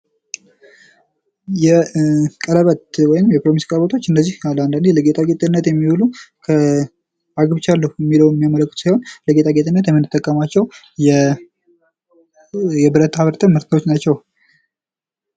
የቀለበት ወይም የፕሮሚስ ቀለበቶች እነዚህ አንዳንድ ጊዜ ለጌጣጌጥነት የሚውሉ አግብቻለሁ የሚለውን የሚያመለክቱ ሲሆን ለጌጣጌጥነት የምንጠቀማቸው ብዙ ጊዜ ብረታ ብረት ምርቶች ናቸው።